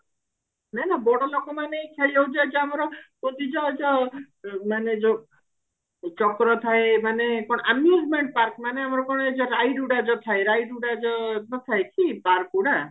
ନା ମ ବଡଲୋକ ମାନେ ଖେଳିବାକୁ ଯାଇଛୁ ଆମର ମାନେ ଯୋଉ ଚକ୍ର ଥାଏ ମାନେ amusement park ମାନେ ମାନେ ride ଗୁଡା ଯୋଉ ଥାଏ ride ଗୁଡା ଯୋଉ ଥାଏ କି park ଗୁଡା